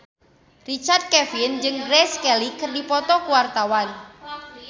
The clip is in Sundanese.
Richard Kevin jeung Grace Kelly keur dipoto ku wartawan